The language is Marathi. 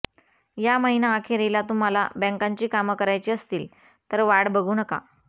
या महिनाअखेरीला तुम्हाला बँकांची कामं करायची असतील तर वाट बघू नका